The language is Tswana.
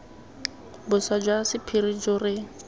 boswa jwa sephiri jo re